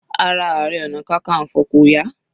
Ara Ààrẹ ọna kankanfo kò yá.